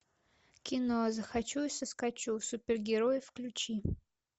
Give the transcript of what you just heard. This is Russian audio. кино захочу и соскочу супергерои включи